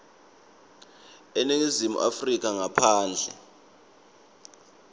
eningizimu afrika ngaphandle